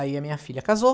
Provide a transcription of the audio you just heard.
Aí a minha filha casou.